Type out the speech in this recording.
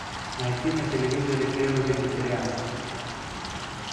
найти на телевизоре первый вегетарианский